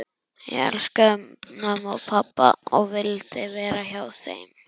Ég elskaði mömmu og pabba og vildi vera hjá þeim.